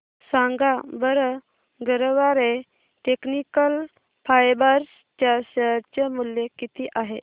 सांगा बरं Garware technical fibres च्या शेअर चे मूल्य किती आहे